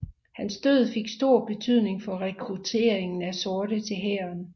Hans død fik stor betydning for rekrutteringen af sorte til hæren